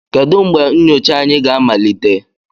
Kedu mgbe nyocha anyị ga-amalite?